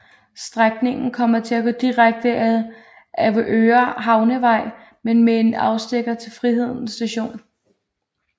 Strækningen kommer til at gå direkte ad Avedøre Havnevej men med en afstikker til Friheden st